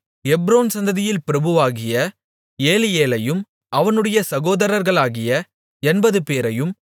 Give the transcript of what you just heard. Hebron சந்ததியில் பிரபுவாகிய ஏலியேலையும் அவனுடைய சகோதரர்களாகிய எண்பதுபேரையும்